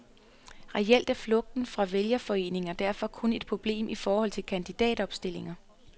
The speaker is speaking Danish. Reelt er flugten fra vælgerforeninger derfor kun et problem i forhold til kandidatopstillinger.